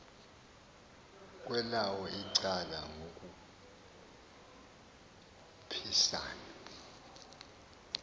kwelawo icala ngokukhuphisana